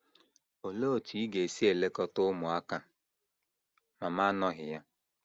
Olee otú ị ga - esi elekọta ụmụaka ma m anọghị ya?